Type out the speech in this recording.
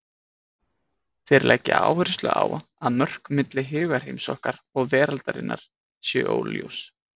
Þeir leggja áherslu á að mörk milli hugarheims okkar og veraldarinnar séu óljós.